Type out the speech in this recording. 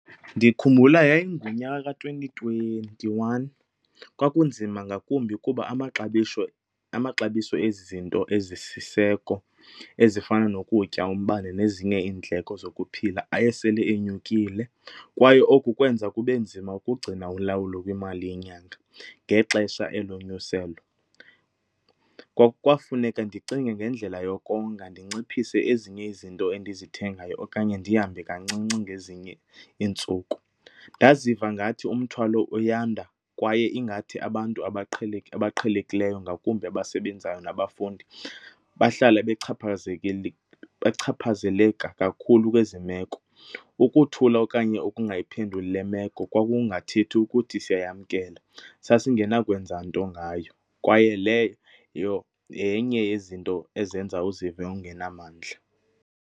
Ndikhumbula yayingunyaka ka-twenty twenty-one kwakunzima ngakumbi kuba amaxabiso ezi zinto ezisiseko ezifana nokutya, umbane nezinye iindleko zokuphila aye esele enyukile kwaye oku kwenza kube nzima ukugcina ulawulo kwimali yenyanga ngexesha elonyuselo. Kwafuneka ndicinge ngendlela yokonga ndinciphise ezinye izinto endizithengayo okanye ndihambe kancinci ngezinye iintsuku. Ndaziva ngathi umthwalo uyanda kwaye ingathi abantu abaqhelekileyo, ngakumbi abasebenzayo nabafundi, bahlala bechaphazeleka kakhulu kwezi meko. Ukuthula okanye ukungayiphenduli le meko kwakungathethi ukuthi siyayamkela sasingenakwenza nto ngayo kwaye leyo yenye yezinto ezenza uzive ungenamandla.